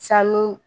Sanu